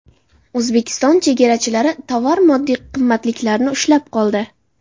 O‘zbekiston chegarachilari tovar-moddiy qimmatliklarni ushlab qoldi.